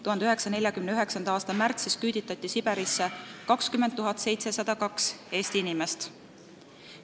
1949. aasta märtsis küüditati Siberisse 20 702 Eesti inimest.